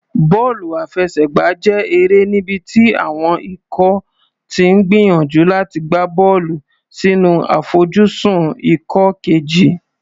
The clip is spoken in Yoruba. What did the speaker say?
Bọ́ọ̀lù àfẹsẹ̀gbá jẹ́ eré níbi tí àwọn ikọ̀ ti ń gbìyànjú láti gbá bọ́ọ̀lù sínú àfojúsùn ikọ̀ kejì.